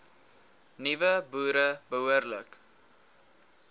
nuwe boere behoorlik